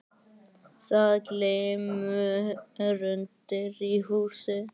Það glymur undir í húsinu.